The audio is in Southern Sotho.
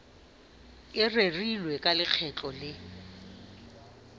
e rerilweng ka lekgetlo le